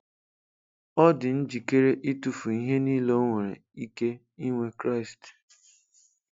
Ọ dị njikere ịtụfu ihe niile o nwere ike inwe Kraịst.